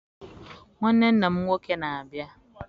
Nwanne nna m nwoke na-abịa.